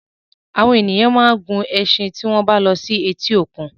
Àwọn èèyàn máa ń gun ẹṣin tí wọ́n bá lọ sí etí òkun.